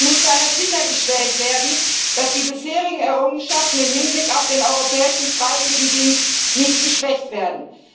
Es muss daher sichergestellt werden, dass die bisherigen Errungenschaften im Hinblick auf den Europäischen Freiwilligendienst nicht geschwächt werden.